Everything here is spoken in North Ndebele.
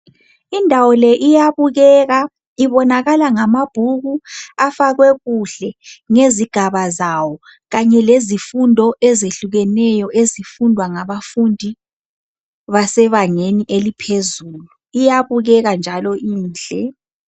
Indawo le iyabukeka ibonakala ngamabhuku afakwe kuhle ngezigaba zawo kanye lezifundo ezehlukeyo ezifundwa ngabafundi basebangeni eliphezu, iyabukeka njalo inhle.